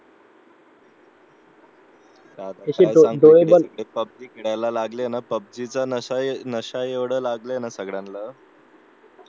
आता हे पब्जी खेळायला लावलेत ना पब्जी चा नशा एवढा लागलाय ना सगळ्यांना